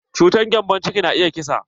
Cutar gembon ciki na iya kisa.